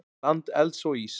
Land elds og íss.